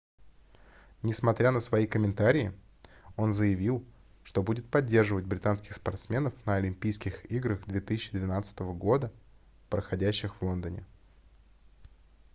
несмотря на свои комментарии он заявил что будет поддерживать британских спортсменов на олимпийских играх 2012 года проходящих в лондоне